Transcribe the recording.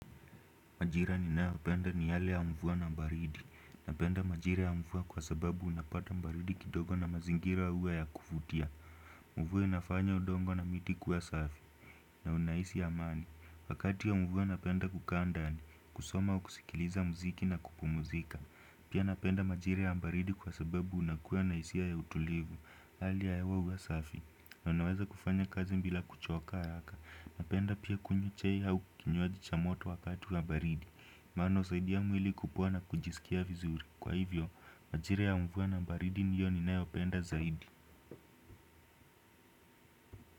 Majira ninayopenda ni hali ya mvua na baridi. Napenda majira ya mvua kwa sababu unapata baridi kidogo na mazingira iwe ya kuvutia. Mvua inafanya udongo na miti kuwa safi. Na unahisi amani. Wakati wa mvua napenda kukaa ndani. Kusoma au kusikiliza muziki na kupumzika. Pia napenda majira ya baridi kwa sababu unakuwa na hisia ya utulivu. Hali ya hewa huwa safi. Na unaweza kufanya kazi bila kuchoka yaka. Napenda pia kunywa chai au kinywaji cha moto wakati wa baridi. Mano saidi ya mwili kupuwa na kujisikia vizuri. Kwa hivyo, majira ya mvua na baridi ndiyo ninayopenda zaidi.